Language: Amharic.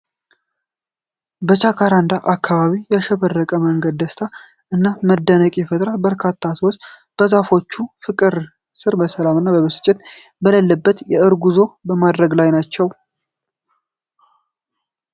በጃካራንዳ አበባዎች ያሸበረቀው መንገድ ደስታን እና መደነቅን ይፈጥራል፤ በርካታ ሰዎች በዛፎቹ ፍቅር ስር በሰላም እና ብስጭት የሌለበት የእግር ጉዞ በማድረግ ላይ ናቸው።